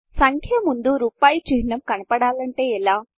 సంఖ్య ముందు రూపాయి చిహ్నము కనపడాలంటే ఎలా